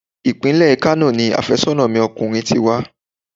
Ìpínlẹ̀ Kano ni àfẹ́sọ́nà ọkùnrin mi ti wá.